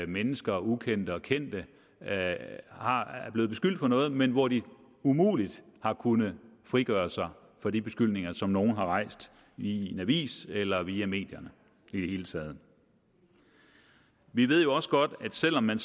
mennesker ukendte og kendte er er blevet beskyldt for noget men hvor de umuligt har kunnet frigøre sig fra de beskyldninger som nogen har rejst i en avis eller via medierne i det hele taget vi ved jo også godt at selv om man